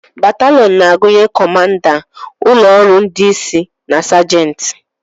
Bataliọn na-agụnye kọmanda, ụlọ ọrụ ndị isi na sajenti.